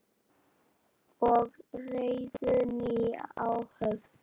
og réðu nýja áhöfn.